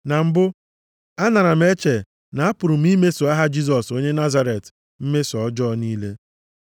“Na mbụ, anara m eche na apụrụ m imeso aha Jisọs onye Nazaret mmeso ọjọọ niile.